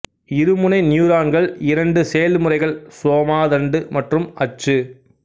இருமுனை நியூரான்கள் இரண்டு செயல்முறைகள் சோமா தண்டு மற்றும் அச்சு